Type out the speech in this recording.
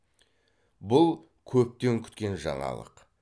бұл көптен күткен жаңалық